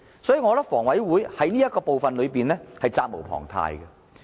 所以，我覺得房委會在這方面是責無旁貸的。